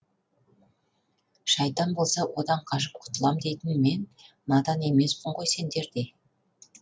шайтан болса одан қашып құтылам дейтін мен надан емеспін ғой сендердей